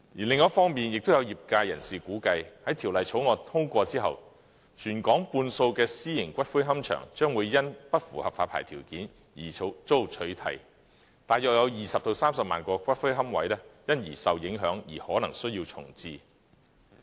另一方面，也有業界人士估計，在《條例草案》通過後，全港半數私營龕場將會因不符合發牌條件而遭取締，大約20萬至30萬個龕位因而受影響，而可能需要重置。